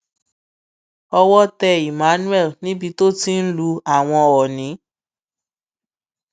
owó tẹ emmanuel níbi tó ti ń lu àwọn ọnì